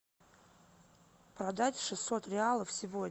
продать шестьсот реалов сегодня